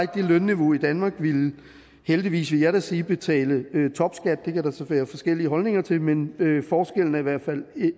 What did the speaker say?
det lønniveau i danmark ville heldigvis vil jeg da sige betale topskat det kan der så være forskellige holdninger til men forskellen er i hvert fald